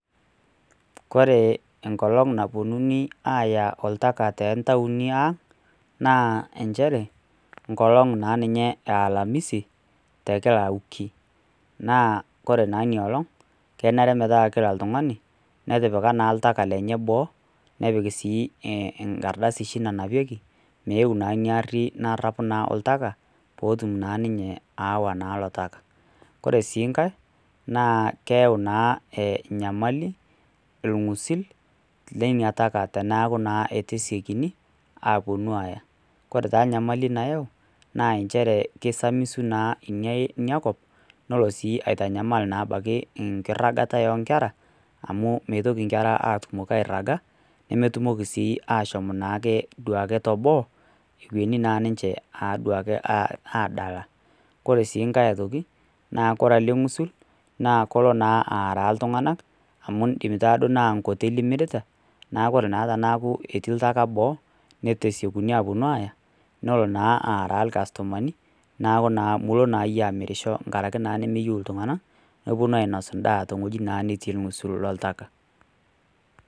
Ore enkolong' napuonuni aaya oltaka too intauni aang', naa nchere, enkolong' naa ninye e alamisi, tekila wiki. Naa ore naa ina olong', kenare metaa kila oltung'ani, netipika naa oltaka lenye boo, nepik sii enkardasi oshi nanapieki, meuu naa ari narapu oshi oltaka meewa naa ilo taka. Ore sii enkai, naa keyau naa enyamali, ilng'usil, leina taka, teneaku naa eitu esiokini aappuonu aaya. Ore taa enyamali nayau, naa nchere keisamisu naa ina kop, nelo naa sui aitanyamal enkiragata oonkera, amu ,etumoki inkera aitoki airaga, nemetumoki naake duake ashom te boo, ewueni naake duo ninche aadala. Kore siienkai aitoki, neaku ore ng'usil naa kelo naa aaraa iltung'anak, amu eidim taa duo naa enkoteli imirita, neaku naa ore teneaku etii oltaka boo, neitu esiokini awuonu aaya, nelo naa aaraa ilkastomani, neaku naa milo iyie amirisho enkaraki naa nemoyu iltung'ana nepuonu naa anya endaa ttewueji naa natii olng'usul lloltakataka.